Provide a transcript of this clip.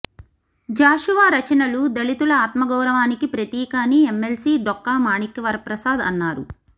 జాషువా రచనలు దళితుల ఆత్మగౌరవానికి ప్రతీక అని ఎమ్మెల్సీ డొక్కా మాణిక్య వరప్రసాద్ అన్నారు